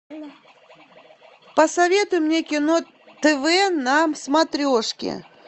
посоветуй мне кино тв на смотрешке